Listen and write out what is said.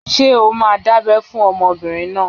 Ṣé o máa dábẹ́ fún ọmọbìnrin náà?